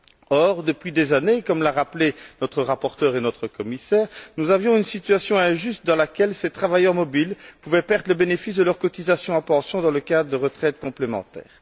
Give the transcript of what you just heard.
Or, depuis des années, comme l'ont rappelé notre rapporteur et notre commissaire, nous avions une situation injuste dans laquelle ces travailleurs mobiles pouvaient perdre le bénéfice de leurs cotisations à pension dans le cadre de retraites complémentaires.